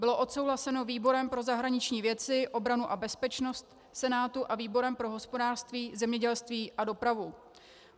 Byl odsouhlasen výborem pro zahraniční věci, obranu a bezpečnost Senátu a výborem pro hospodářství, zemědělství a dopravu.